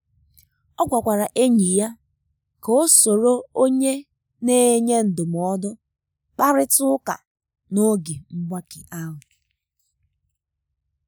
o gwakwara enyi ya ka o soro onye na enye ndụmọdụ kparịta ụka n’oge mgbake ahụ.